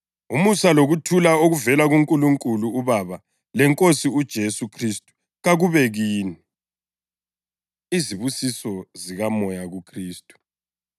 Umusa lokuthula okuvela kuNkulunkulu uBaba leNkosini uJesu Khristu kakube kini. Izibusiso ZikaMoya KuKhristu